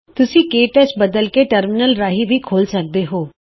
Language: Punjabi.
ਜਾਣ ਫੇਰ ਤੁਸੀਂ ਟਰਮਿਨਲ ਰਾਹੀਂ ਵੀ ਕੇ ਟੱਚ ਖੋਲ੍ਹ ਸਕਦੇ ਹੋ